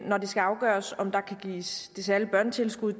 når det skal afgøres om der kan gives det særlige børnetilskud